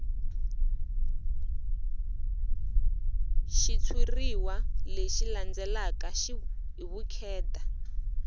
xitshuriwa lexi landzelaka hi vukheta